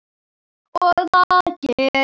Og það geri ég.